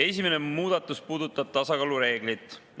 Esimene muudatus puudutab tasakaalu reeglit.